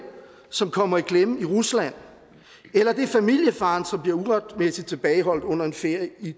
som kommer i klemme rusland eller det er familiefaren som bliver uretmæssig tilbageholdt under en ferie